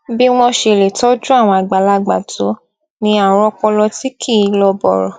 bí wón ṣe lè tójú àwọn àgbàlagbà tó ní àrùn ọpọlọ tí kì í lọ bòrò